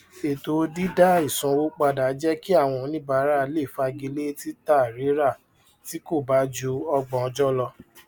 ètò dídá ìsanwó padà jẹ kí àwọn oníbàárà lè fagilé títàrírà tí kò bá ju ọgbọn ọjọ lọ